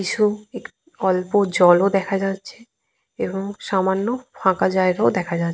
কিছু অল্প জল ও দেখা যাচ্ছে এবং সামান্য ফাঁকা জায়গা ও দেখা যাচ্ছে।